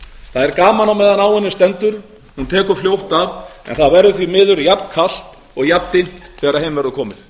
það er gaman meðan á henni stendur hún tekur fljótt af en það verður því miður jafnkalt og jafndimmt þegar heim verður komið